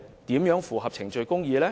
怎能符合程序公義呢？